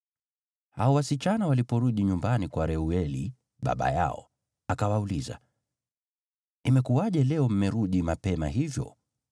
Hao wasichana waliporudi nyumbani kwa Reueli baba yao, akawauliza, “Imekuwaje leo mmerudi mapema hivyo?”